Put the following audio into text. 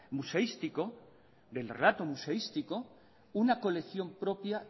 museístico del relato museístico una colección propia